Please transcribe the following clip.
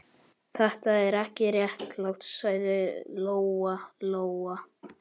Þetta er ekki réttlátt, sagði Lóa Lóa.